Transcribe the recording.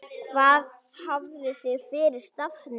Hvað hafið þið fyrir stafni?